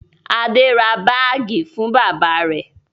Adé ra báágì fún bàbá rẹ̀?